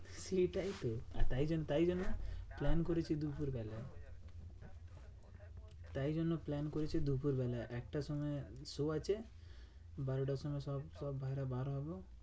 এটাইতো আর তাই জন্য তাই জন্য plan করেছি দুপুরবেলা। তাই জন্য plan করেছি দুপুরবেলা এক টার সময় show আছে। বারোটার সময় সব বাইরে বার হবো।